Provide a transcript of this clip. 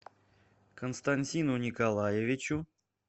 константину николаевичу